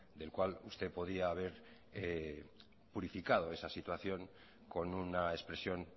del cual usted podía ver purificado esa situación con una expresión